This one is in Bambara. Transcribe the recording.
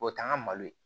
O t'an ka malo ye